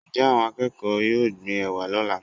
njẹ awón akeko yọọ gbín ewá lola?